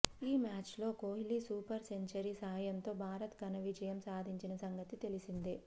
ఈ మ్యాచ్ లో Kohli super century సాయంతో భారత్ ఘనవిజయం సాధించిన సంగతి తెలిసిందే